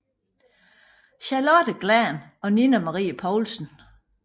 Charlotte Glahn og Nina Marie Poulsen